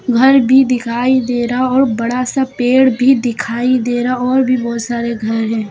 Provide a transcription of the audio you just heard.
घर भी दिखाई दे रहा और बड़ा सा पेड़ भी दिखाई दे रहा और भी बहुत सारे घर हैं।